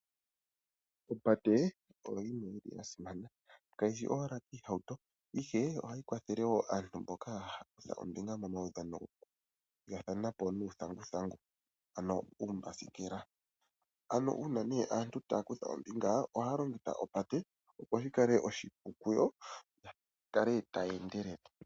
Opate oya simana, kayi shi owala koohauto, ihe ohayi kwathele wo aantu mboka haya kutha ombinga momaudhano gokuthigathana po nuuthanguthangu, ano uumbasikela. Uuna aantu taya kutha ombinga ohaya longitha opate, opo shi kale oshipu kuyo ya kale taya endelele.